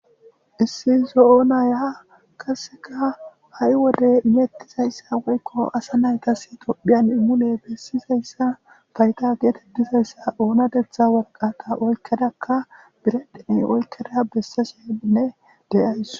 Issi zo'o naya qasseka ha'i wode imettizayssa woykko asa naytas tophphiyan mule bessizayssa fayda geetettizayssa oonatetha warqata oykkedakka biredhen oykkeda bessashenne de'ays.